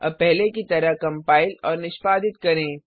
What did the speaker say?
अब पहले की तरह कम्पाइल और निष्पादित करें